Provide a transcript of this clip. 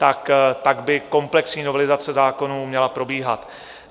Tak by komplexní novelizace zákonů měla probíhat.